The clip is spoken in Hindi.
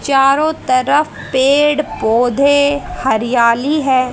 चारों तरफ पेड़ पौधे हरियाली है।